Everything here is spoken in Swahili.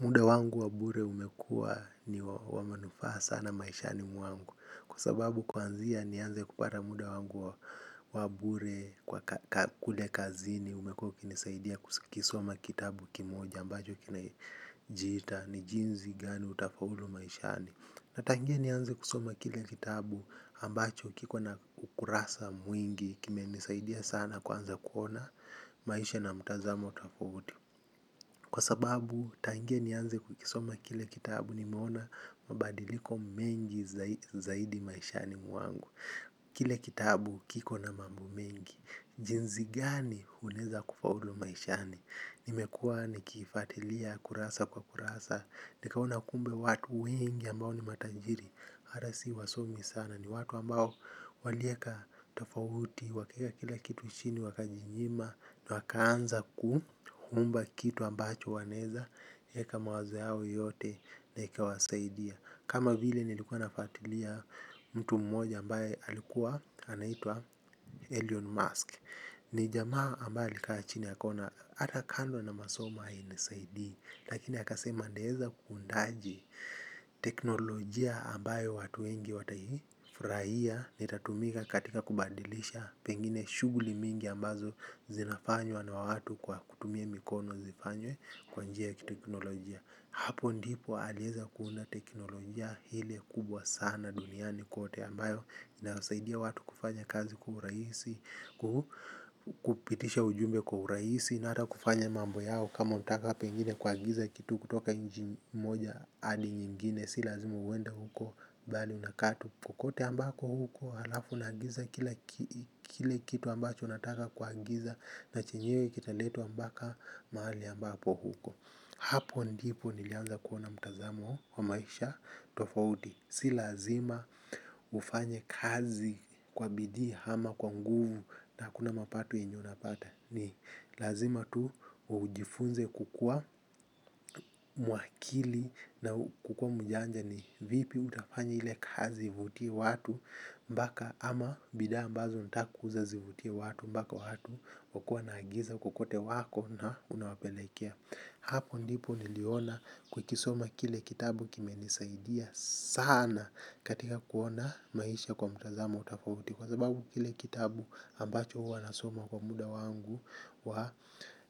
Muda wangu wabure umekua ni wamanufaa sana maishani mwangu. Kwa sababu kuanzia ni anze kupata muda wangu wabure kwa kulekazini. Umekua kinisaidia kusikisoma kitabu kimoja ambacho kinajita ni jinsi gani utafaulu maishani. Na tangia ni anze kusoma kile kitabu ambacho kiko na ukurasa mwingi. Kime nisaidia sana kwanza kuona maisha na mtazamo tofauti. Kwa sababu tangia ni anze kukisoma kile kitabu ni meona mabadiliko mengi zaidi maishani mwangu. Kile kitabu kiko na mambo mengi. Jinsi gani unaweza kufaulu maishani. Nimekuwa ni kifatilia kurasa kwa kurasa. Nikaona kumbe watu wengi ambao ni matajiri. Hata si wasomi sana ni watu ambao walieka tofauti wakieka kila kitu chini wakajinyima na wakaanza ku kuumba kitu ambacho waneza yeka mawazo yao yote na ikawasaidia kama vile nilikuwa nafatilia mtu mmoja ambaye alikuwa anaitwa alien mask ni jama ambaye alikachini akona ata kando na masoma haini saidi lakini akasema nitaweza kuundaje teknolojia ambaye watu wengi watafurahia ni tatumika katika kubadilisha pengine shughuli mingi ambazo zinafanywa na watu kwa kutumia mikono zifanywe kwanjia ya teknolojia hapo ndipo aliweza kuona teknolojia ile kubwa sana duniani kote ambayo inasaidia watu kufanya kazi kwa urahisi, kupitisha ujumbe kwa urahisi na ata kufanya mambo yao kama utaka pengine kua giza kitu kutoka nchi moja adi nyingine. Si lazima uwenda huko, bali unakaa tu kokote ambako huko. Halafu nagiza kile kitu ambacho nataka kuagiza. Na chenyewe kita leto ambaka maali ambapo huko. Hapo ndipo nilianza kuona mtazamo wa maisha tofauti. Si lazima ufanye kazi kwa bidii hama kwa nguvu. Na kuna mapato yenye napata. Ni lazima tu ujifunze kukua mwakili. Na kukua mjanja ni vipi utafanya hile kazi vutia watu mpaka ama bidhaa ambazo unatakuuza zivutie watu mpaka watu wakua na agiza kukote wako na unawapelekea. Hapo ndipo niliona kukisoma kile kitabu kime nisaidia sana. Katika kuona maisha kwa mtazamo tofauti kwa sababu kile kitabu ambacho wanasoma kwa muda wangu wa